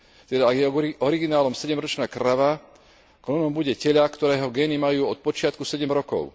Teda, ak je originálom sedemročná krava, klonom bude teľa, ktorého gény majú od počiatku sedem rokov.